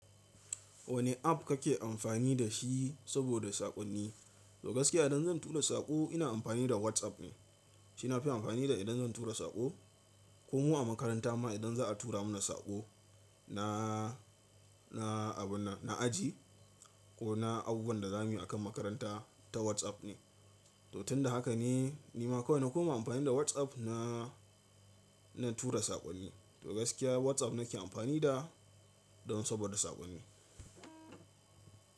Wane app kake amfani da shi saboda saƙonni? To gaskiya idan zan tura saƙo ina amfani da WhatsApp ne. Shi nafi amfani da idan zan tura saƙo. Ko mu a makaranta ma idan za a tura mana saƙo na, na abun nan, na aji ko na abubuwan da za mu yi akan makaranta ta WhatsApp ne. To tun da haka ne nima kawai na kuma amfani da WhatsApp na, na tura saƙonni. To gaskiya WhatsApp nake amfani da don saboda saƙonni.